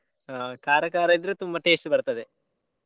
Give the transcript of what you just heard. ಹ್ಮ್ ಖಾರ ಖಾರ ಇದ್ರೆ ತುಂಬಾ taste ಬರ್ತದೆ.